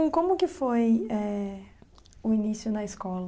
como que foi eh o início na escola?